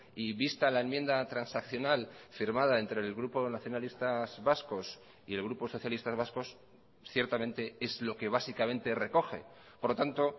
y vista la enmienda transaccional firmada entre el grupo nacionalistas vascos y el grupo socialistas vascos ciertamente es lo que básicamente recoge por lo tanto